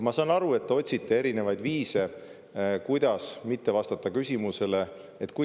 Ma saan aru, et te otsite erinevaid viise, kuidas mitte vastata küsimusele.